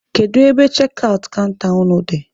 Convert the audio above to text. Kedu ebe chekị aụt kanta unu dị?